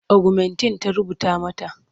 Ogumentin ta rubuta mata.